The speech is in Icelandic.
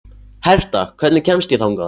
Herta, hvernig kemst ég þangað?